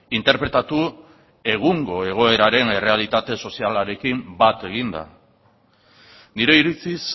interpretatu egungo egoeraren errealitate sozialarekin bat eginda nire iritziz